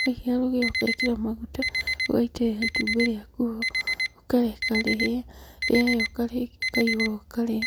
waigĩrĩra rũgĩo ũgekĩra maguta, ũgaitĩrĩra itumbĩ rĩaku ho, ũkareka rĩhĩe, rĩahĩa ũkaihũra ũkarĩa.